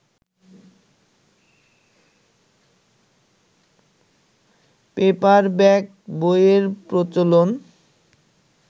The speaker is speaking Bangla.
পেপার-ব্যাক বইয়ের প্রচলন